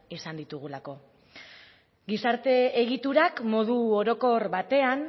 izan ditugulako gizarte egiturak modu orokor batean